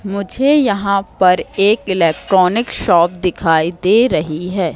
मुझे यहां पर एक इलेक्ट्रॉनिक शॉप दिखाई दे रही है।